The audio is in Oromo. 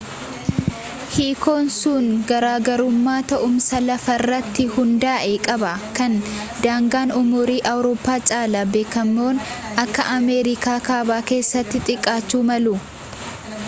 hiikoon sun garaagarummaa taa'umsa lafaarratti hundaa'e qaba kan daangaan umurii awurooppaa caalaa bakkeewwan akka ameerikaa kaabaa keessatti xiqqaachuu malu